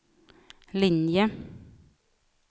linje